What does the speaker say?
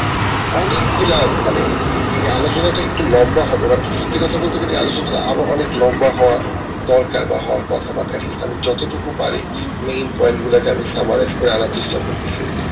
অনেক গুলা মানে এই আলোচনা টা একটু লম্বা হবে but সত্যি কথা বলতে গেলে আলোচনাটা আরো অনেক লম্বা হওয়া দরকার বা হওয়ার কথা যত টুকু পারি main point গুলা কে আমি আনার চেষ্টা করতেসি